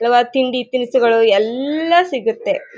ಹಲವಾರು ತಿಂಡಿ ತಿನಿಸು ಗಳು ಎಲ್ಲಾ ಸಿಗುತ್ತೆ .